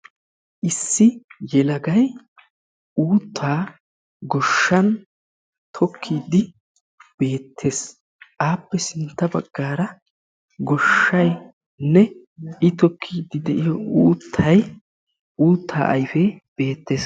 Issi yelagay uuttaa goshshan tokkiidi beettees. Appe sintta bagaara goshshaynne I tokkiidi de'iyo uuttaynne uutta ayfe beettees.